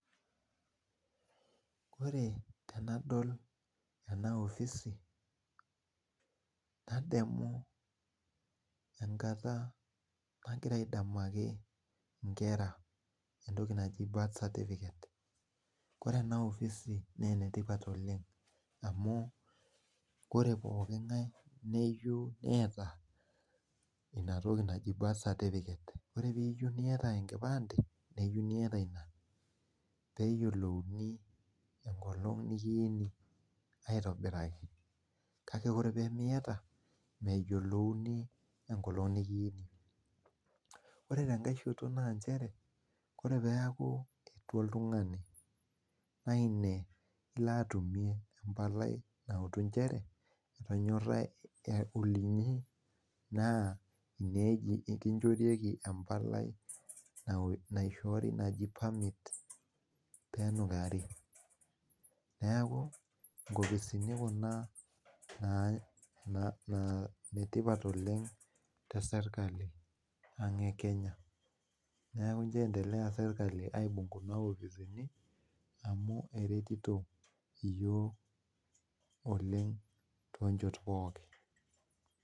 Ore tenadol ena opisi nadoli enkata nagira aitaki nkera entoki naji birth certificate na enetipat amu koree pooki ngae neyieu niata ina birth certificate neyio niata enkipande peyiolouni enkolong nikiini aitobiraki kake ore miata meyiolouni enkolong nikiini ore tenkae shoto na nchereore peaku etua oltungani na ine ilo autu ajo olinyi peji ekimchorieki embalai naishoori naji permit penukari neaku nkopisini kuna na netipat oleng te kenya neaku piendelea serkali aibung kunabopisini amu eretito yiok oleng tonchot pookin.